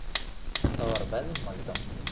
Það var veðmál í gangi.